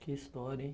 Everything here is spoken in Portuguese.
Que história, hein?